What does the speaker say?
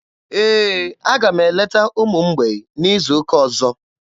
Ee, aga m eleta ụmụ mgbei n'izu ụka ọzọ.